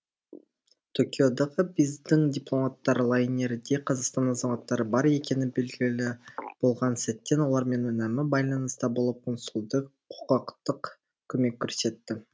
токиодағы біздің дипломаттар лайнерде қазақстан азаматтары бар екені белгілі болған сәттен олармен үнемі байланыста болып консулдық құқықтық көмек көрсетті